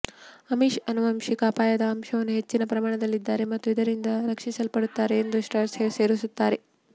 Amish ಆನುವಂಶಿಕ ಅಪಾಯದ ಅಂಶಗಳ ಹೆಚ್ಚಿನ ಪ್ರಮಾಣದಲ್ಲಿದ್ದಾರೆ ಮತ್ತು ಇತರರಿಂದ ರಕ್ಷಿಸಲ್ಪಡುತ್ತಾರೆ ಎಂದು ಸ್ಟ್ರಾಸ್ ಸೇರಿಸುತ್ತಾನೆ